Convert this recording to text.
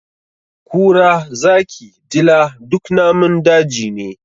Kura, zaki, dila duk namun daji ne.